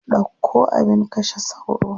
Ɗauko abin kashe sauro.